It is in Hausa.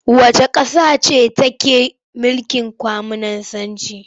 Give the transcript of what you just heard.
Wacce ƙasa ce take mulkin Kwaminisanci?